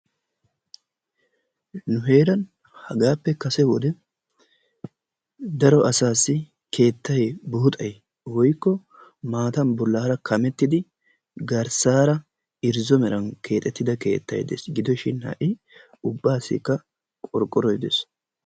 Nu heeran hagaappe kase wode daro asaassi keettay buuxxay woykko maatan bolaara kamettidi garsaara irzzo meran keexettida keettay dees, gidoshi ha'i ubaassikka qorqqoroy dees.